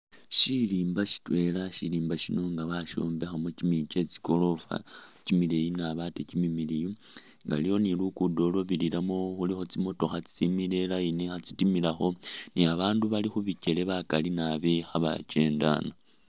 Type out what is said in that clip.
Shirimba shitwela shirimba shino inga bashombekhamo kyimiyu kyetsigorofa kyimileyi naabi ate kyimimiliyu nga aliwo ni lugudo lulwabirilamo khulikho tsimotokha tsitsimile line khatsitimilakho ni abandu bali khubikyele bakali naabi khebakyendana.